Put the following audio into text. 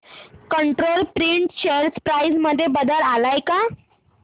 control print share price मध्ये बदल आलाय का